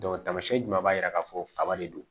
tamasiyɛn jumɛn b'a yira k'a fɔ kaba de don